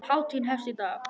Hátíðin hefst í dag.